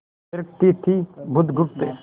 थिरकती थी बुधगुप्त